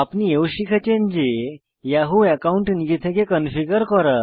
আপনি এও শিখেছেন যে ইয়াহু অ্যাকাউন্ট নিজে থেকে কনফিগার করা